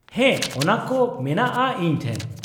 ᱦᱮᱸ ᱚᱱᱟ ᱠᱚ ᱢᱮᱱᱟᱜᱼᱟ ᱤᱧ ᱴᱷᱮᱱ ᱾